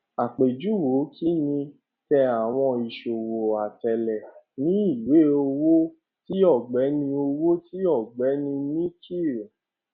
àpèjúwe kinní tẹ àwọn ìṣòwò atẹlé ní ìwé owó ti ọgbẹni owó ti ọgbẹni nikhil